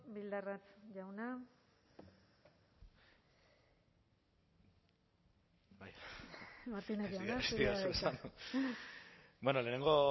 bildarratz jauna martínez jauna zurea da hitza bueno lehenengo